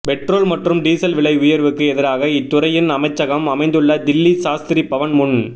petrol மற்றும் diesel விலை உயா்வுக்கு எதிராக இத்துறையின் அமைச்சகம் அமைந்துள்ள தில்லி சாஸ்திரி பவன் முன்